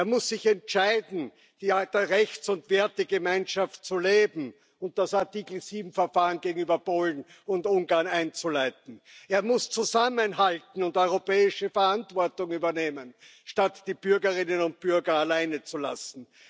Er muss sich entscheiden, die alte Rechts und Wertegemeinschaft zu leben und das Artikel 7 Verfahren gegenüber Polen und Ungarn einzuleiten. Er muss zusammenhalten und europäische Verantwortung übernehmen, statt die Bürgerinnen und Bürger alleine zu lassen.